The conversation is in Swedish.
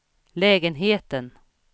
lägenheten